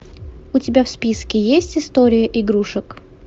у тебя в списке есть история игрушек